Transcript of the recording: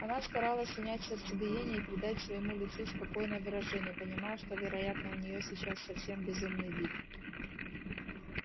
она старалась унять сердцебиение и придать своему лицу спокойное выражение понимая что вероятно у неё сейчас совсем безумный вид